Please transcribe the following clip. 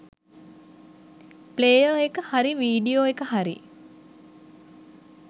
Player එක හරි video එක හරි.